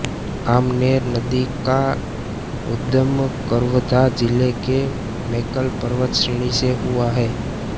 आमनेर नदी का उद्गम कवर्धा जिले के मैकल पर्वत श्रेणी से हुआ है